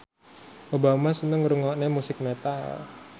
Obama seneng ngrungokne musik metal